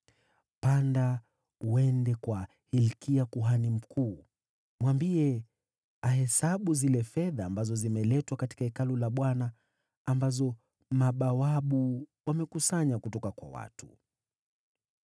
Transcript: “Panda uende kwa Hilkia, kuhani mkuu, umwambie ahesabu zile fedha ambazo zimeletwa katika Hekalu la Bwana , ambazo mabawabu wamekusanya kutoka kwa watu.